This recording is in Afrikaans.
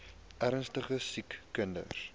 ernstige siek kinders